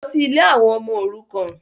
Lọ sí ilé àwọn ọmọ òrukàn.